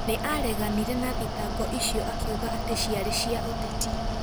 Nĩ aareganire na thitango icio akiuga atĩ ciarĩ cia ũteti.